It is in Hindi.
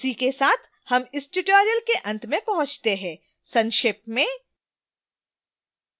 इसी के साथ हम tutorial के अंत में पहुँचते हैं संक्षेप में